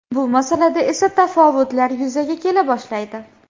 Bu masalada esa tafovutlar yuzaga kela boshlaydi.